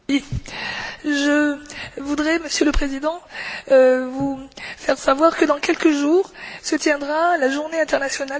Monsieur le Président, je voudrais vous faire savoir que dans quelques jours se tiendra la Journée internationale de solidarité avec le peuple palestinien.